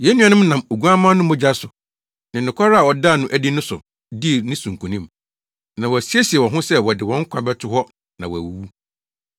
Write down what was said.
Yɛn nuanom no nam Oguamma no mogya so ne nokware a ɔdaa no adi no so dii ne so nkonim. Na wɔasiesie wɔn ho sɛ wɔde wɔn nkwa bɛto hɔ na wɔawuwu.